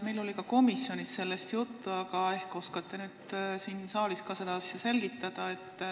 Meil oli komisjonis sellest samuti juttu, aga ehk oskate nüüd siin saalis ka seda asja selgitada.